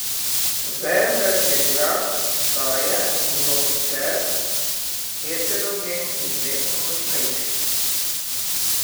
Vendar je glas vstaje mnogoter, heterogen in vedno močnejši.